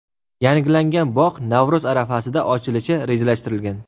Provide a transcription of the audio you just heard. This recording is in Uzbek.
Yangilangan bog‘ Navro‘z arafasida ochilishi rejalashtirilgan.